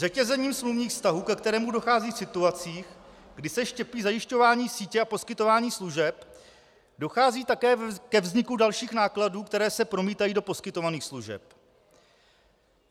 Řetězením smluvních vztahů, ke kterému dochází v situacích, kdy se štěpí zajišťování sítě a poskytování služeb, dochází také ke vzniku dalších nákladů, které se promítají do poskytovaných služeb.